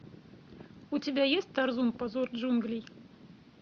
у тебя есть тарзун позор джунглей